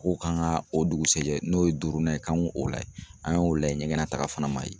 Ko kan ka o dugusajɛ n'o ye duurunan ye k'an k'o layɛ .An y'o layɛ ɲɛgɛn na taga fana ma ye.